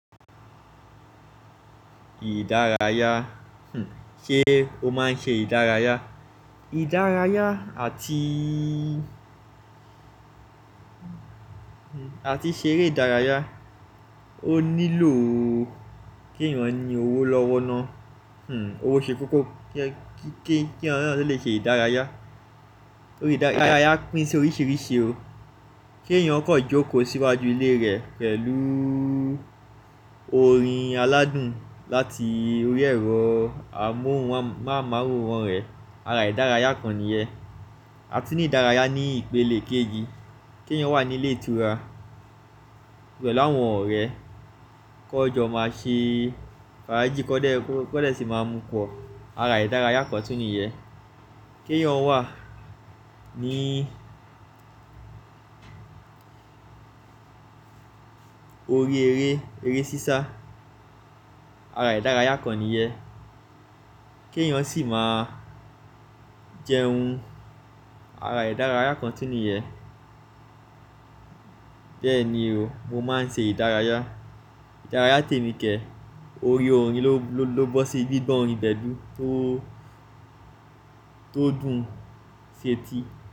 Ìdárayá, hm, ṣé o máa ń ṣe ìdárayá? Idaraya ati, ati sere idaraya ó nílò ó kí èèyàn ní owó lọ́wọ́ ná. Hm, owó ṣe kókó kí èèyàn náà tó lè ṣe ìdárayá. Ìdárayá pín sí oríṣìíríṣìí o. Kí èèyàn kó jókòó síwájú ilé rẹ̀ pẹ̀lú orin aládùn láti orí ẹ̀rọ amóhùnmáwòrán rẹ̀, ara ìdárayá kan nìyẹ́n. A tún ní ìdárayá ní ìpele kéjì, kí èèyàn wà nílé ìtura, pelu áwọn ọ̀rẹ́ kó n jọ máa ṣe fàájì, kọ́dẹ́, kọ́dẹ́ sì máa mú pọ̀, ara ìdárayá kan tún nìyẹ́. Kí èèyàn wà ní orí eré, eré sísá, ara ìdárayá kan nìyẹ́n. Kí èèyàn sì máa jẹun, ara ìdárayá kan tún nìyẹ́. Bẹ́ẹ̀ ni o, mo máa ń ṣe ìdárayá. Ìdárayá tèmi kẹ̀, orí orin ló, ló, ló bọ́ sí, gbígbọ́n orin gbẹ̀dú tó, tó dùn ń ṣe ti.